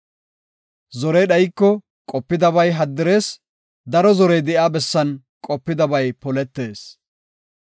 Zorey dhayiko, qopidabay haddirees; daro zorey de7iya bessan qopidabay poletees.